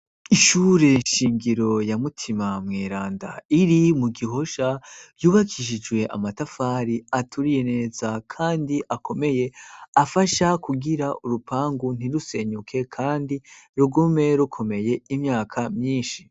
Ishure nshingiro ya Mutima Mweranda iri mu Gihosha yubakishijwe amatafari aturiye neza kandi akomeye afasha kugira urupangu ntirusenyuke kandi rugume rukomeye imyaka myinshi.